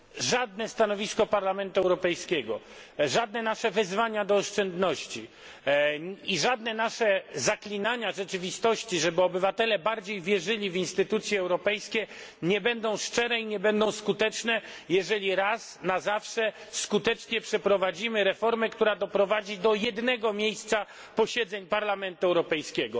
Żadne stanowisko Parlamentu Europejskiego, żadne nasze wezwania do oszczędności i żadne nasze zaklinania rzeczywistości, żeby obywatele bardziej wierzyli w instytucje europejskie, nie będą szczere i nie będą skuteczne, jeżeli raz na zawsze nie przeprowadzimy skutecznie reformy, która doprowadzi do jednego miejsca posiedzeń Parlamentu Europejskiego.